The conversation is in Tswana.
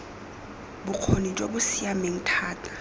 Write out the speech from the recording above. bokgoni jo bo siameng thata